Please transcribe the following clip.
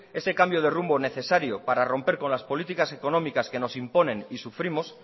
ese cambio de rumbo necesario para romper con las políticas económicas que nos imponen y sufrimos